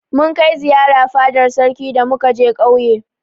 Mun kai ziyara fadar sarki da muka je ƙauye.